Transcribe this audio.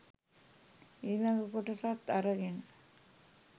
ඊලග කොටසත් අරගෙන